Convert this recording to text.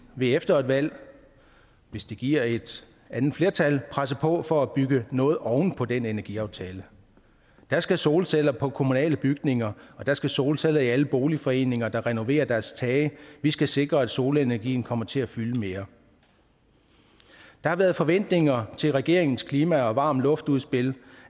vil efter et valg hvis det giver et andet flertal presse på for at bygge noget oven på den energiaftale der skal solceller på kommunale bygninger og der skal solceller i alle boligforeninger der renoverer deres tage vi skal sikre at solenergien kommer til at fylde mere der har været forventninger til regeringens klima og varm luftudspil